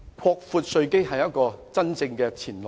擴闊稅基是一條真正的前路。